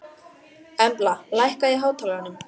Embla, lækkaðu í hátalaranum.